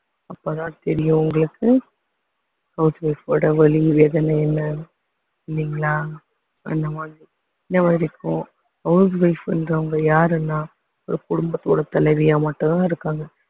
அப்பதான் தெரியும் உங்களுக்கு house wife ஓட வலி வேதனை என்னானு இல்லைங்களா அந்த மாதிரி இதுவரைக்கும் house wife ன்றவங்க யாருன்னா ஒரு குடும்பத்தோட தலைவியா மட்டும்தான் இருக்காங்க